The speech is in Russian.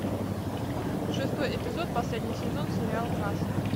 шестой эпизод последний сезон сериал касл